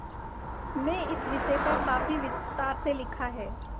में इस विषय पर काफी विस्तार से लिखा है